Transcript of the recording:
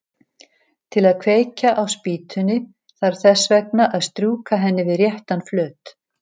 Til að kveikja á spýtunni þarf þess vegna að strjúka henni við réttan flöt.